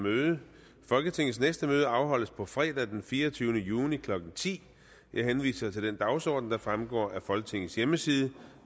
møde folketingets næste møde afholdes på fredag den fireogtyvende juni klokken ti jeg henviser til den dagsorden der fremgår af folketingets hjemmeside